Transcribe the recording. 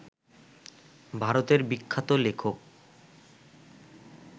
ভারতের বিখ্যাত লেখক